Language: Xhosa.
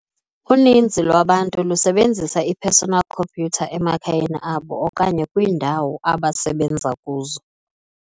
Uninzi lwabantu lusebenzisa i-personal computer emakhayeni abo okanye kwiindawo abasebenza kuzo.